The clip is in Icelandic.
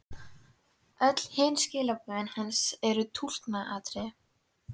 Öll hin skilaboðin hans eru túlkunaratriði.